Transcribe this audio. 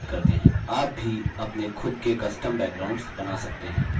आप भी अपने खुद़ के custom backgrounds बना सकते हैं